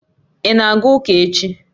Ị na-aga ụka echi?